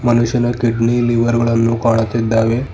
ಮನುಷ್ಯನ kidney liver ಗಳನ್ನು ಕಾಣುತ್ತಿದ್ದಾವೆ.